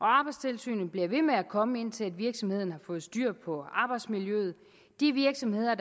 arbejdstilsynet bliver ved med at komme indtil virksomheden har fået styr på arbejdsmiljøet de virksomheder